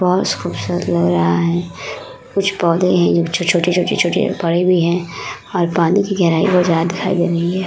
बहौत खूबसूरत लग रहा है कुछ पौधे हैं जो छोटे-छोटे-छोटे-छोटे पड़े हुए हैं और पानी की गहराई बहौत ज्यादा दिखाई दे रही है।